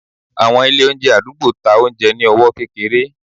àwọn ilé oúnjẹ adugbo, ta oúnjẹ ní ọwọ kékeré.